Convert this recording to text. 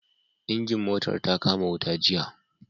Injin motar ta kama wuta jiya